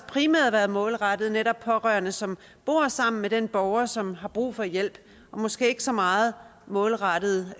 primært været målrettet netop pårørende som bor sammen med den borger som har brug for hjælp og måske ikke så meget målrettet